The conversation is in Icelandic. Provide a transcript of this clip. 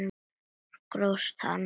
Grófst hann!